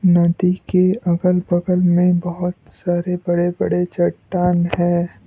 नदी के अगल बगल में बहोत सारे बड़े बड़े चट्टान है।